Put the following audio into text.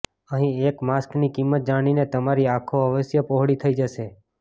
અહીં એક માસ્કની કિંમત જાણીને તમારી આંખો અવશ્ય પહોળી થઈ જશે